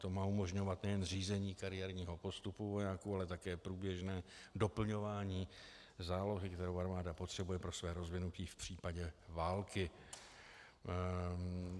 To má umožňovat nejen zřízení kariérního postupu vojáků, ale také průběžné doplňování zálohy, kterou armáda potřebuje pro své rozvinutí v případě války.